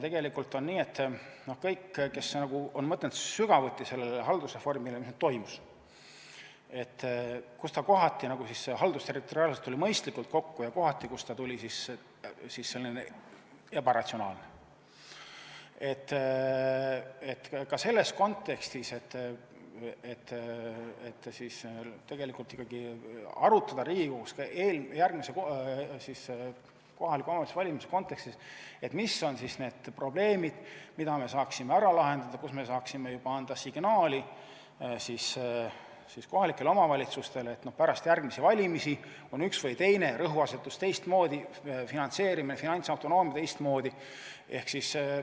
Tegelikult on nii, et kõik, kes on mõelnud sügavuti haldusreformile, mis toimus, sellele, kuidas kohati haldusterritoriaalselt mindi mõistlikult kokku ja kohati oli see ebaratsionaalne, võiks ikkagi arutada Riigikogus järgmiste kohalike omavalitsuste valimiste kontekstis, mis on need probleemid, mida me saaksime ära lahendada ja kus me saaksime anda signaali kohalikele omavalitsustele, et pärast järgmisi valimisi on üks või teine rõhuasetus teistmoodi, finantseerimine ja finantsautonoomia teistmoodi.